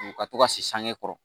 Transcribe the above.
U ka to ka se sange kɔrɔ